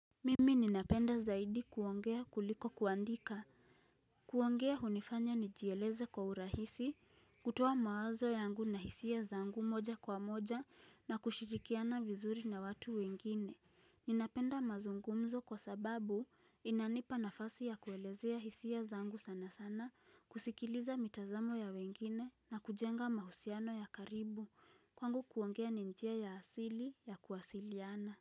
Mimi ninapenda zaidi kuongea kuliko kuandika kuongea hunifanya nijieleze kwa urahisi, kutoa mawazo yangu na hisia zangu moja kwa moja na kushirikiana vizuri na watu wengine Ninapenda mazungumzo kwa sababu inanipa nafasi ya kuelezea hisia zangu sana sana, kusikiliza mitazamo ya wengine na kujenga mahusiano ya karibu, kwangu kuongea ni njia ya asili ya kuwasiliana.